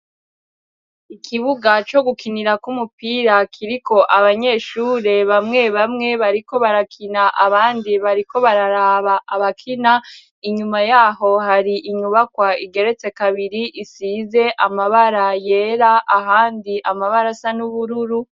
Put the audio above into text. Ikibuga co gukinirako umupira kiriko abanyeshure bamwe bamwe bariko barakina abandi bariko bararaba abakina inyuma yaho hari inyubakwa igeretse kabiri isize amabara yera ahandi amabara asa n'ubururu.